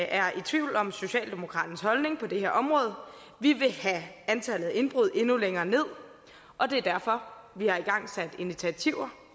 er i tvivl om socialdemokraternes holdning på det her område vi vil have antallet af indbrud endnu længere ned og det er derfor vi har igangsat initiativer